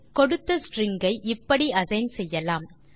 கொடுத்த ஸ்ட்ரிங் ஐ இப்படி அசைன் செய்யலாம்